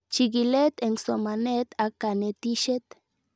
Chig'ilet eng' somanet ak kanetishet